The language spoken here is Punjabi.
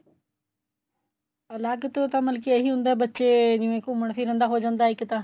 ਅਲੱਗ ਤੋਂ ਤਾਂ ਮਤਲਬ ਇਹੀ ਹੁੰਦਾ ਬੱਚੇ ਜਿਵੇਂ ਘੁੰਮਣ ਫਿਰਨ ਦਾ ਹੋ ਜਾਂਦਾ ਇੱਕ ਤਾਂ